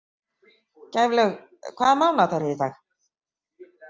Gæflaug, hvaða mánaðardagur er í dag?